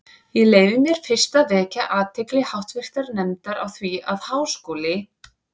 Ég leyfi mér fyrst að vekja athygli háttvirtrar nefndar á því, að Háskóli